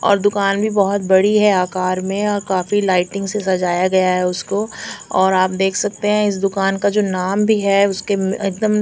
और दुकान भी बहुत बड़ी हैं आकार में और काफी लाइटिंग से सजाया गया हैं उसको और आप देख सकते हैं इस दुकान का जो नाम भी हैं उसके म एकदम --